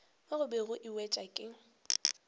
mo gobe e wetšwa ke